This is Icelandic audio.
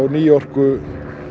nýorku